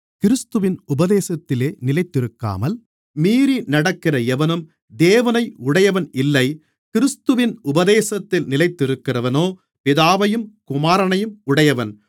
கிறிஸ்துவின் உபதேசத்திலே நிலைத்திருக்காமல் மீறி நடக்கிற எவனும் தேவனை உடையவன் இல்லை கிறிஸ்துவின் உபதேசத்தில் நிலைத்திருக்கிறவனோ பிதாவையும் குமாரனையும் உடையவன்